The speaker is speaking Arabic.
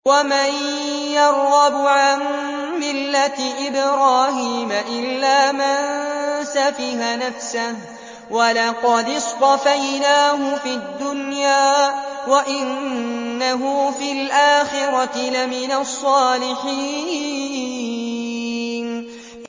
وَمَن يَرْغَبُ عَن مِّلَّةِ إِبْرَاهِيمَ إِلَّا مَن سَفِهَ نَفْسَهُ ۚ وَلَقَدِ اصْطَفَيْنَاهُ فِي الدُّنْيَا ۖ وَإِنَّهُ فِي الْآخِرَةِ لَمِنَ الصَّالِحِينَ